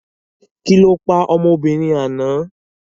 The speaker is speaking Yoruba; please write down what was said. Kí lọ pa ọmọbìnrin àná?